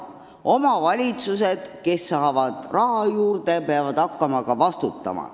Omavalitsused, kes saavad raha juurde, peavad hakkama ka vastutama.